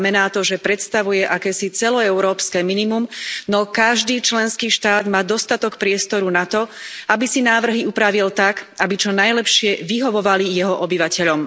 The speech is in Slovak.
Znamená to, že predstavuje akési celoeurópske minimum, no každý členský štát má dostatok priestoru na to, aby si návrhy upravil tak, aby čo najlepšie vyhovovali jeho obyvateľom.